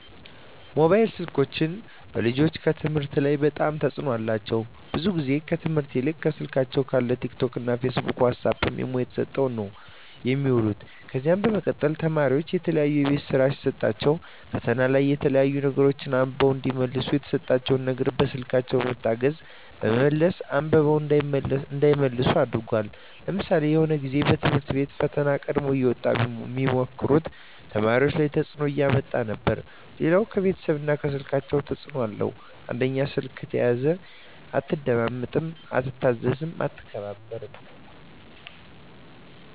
ሞባይል ስልኮች በልጆች ከትምህርት ላይ በጣም ተጽዕኖ አላቸው ብዙ ግዜ ከትምህርት ይልቅ ከስልካቸው ካለው ቲክ ቶክ ፊስቡክ ዋሳፕ ኢሞ ተሰጠው ነው የሚውሉ ከዚ በመቀጠል ተማሪዎች የተለያዩ የቤት ስራ ሲሰጣቸዉ ፈተና ላይ የተለያዩ ነገሮች አንብበው እዲመልሱ የተሰጣቸው ነገር በስልኮች በመታገዝ በመመለስ አንብበው እንዳይመልሱ አድርጓል ለምሳሌ የሆነ ግዜ በትምህርት ቤቶች ፈተና ቀድሞ እየወጣ ሚሞክሩ ተማሪዎች ላይ ተጽዕኖ እያመጣ ነበር ሌላው ከቤተሰብ ላይ ስልኮች ተጽዕኖ አላቸው አንደኛው ስልክ ከተያዘ አትደማመጥም አትታዘዝም አትከባበርም